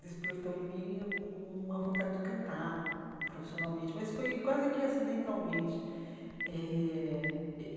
despertou em mim uma vontade de cantar profissionalmente, mas foi quase que acidentalmente eh e.